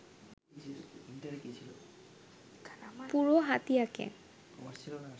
পুরো হাতিয়াকে